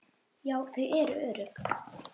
Já, þau eru örugg